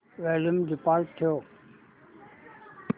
volume default ठेव